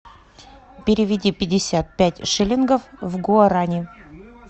переведи пятьдесят пять шиллингов в гуарани